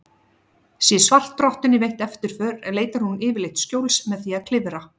Sé svartrottunni veitt eftirför leitar hún yfirleitt skjóls með því að klifra.